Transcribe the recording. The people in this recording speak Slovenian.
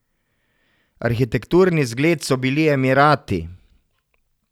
Arhitekturni zgled so bili Emirati.